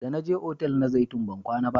Da na je otal na zaitun ban kwana ba